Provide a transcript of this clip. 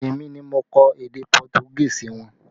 Èmi ni mo kọ èdè Pọtugí sí wọn